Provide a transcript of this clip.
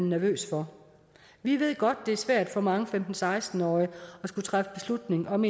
nervøs for vi ved godt at det er svært for mange femten til seksten årige at skulle træffe beslutning om